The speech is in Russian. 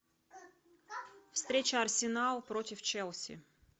встреча арсенал против челси